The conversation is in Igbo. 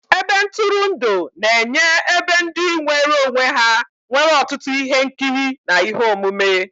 Ebe ntụrụndụ na-enye ebe ndị nwere onwe ha nwere ọtụtụ ihe nkiri na ihe omume.